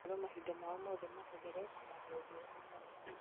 makerwo mahinda mao mothe mahũthĩre kũmatha ũthiũ wa mwathani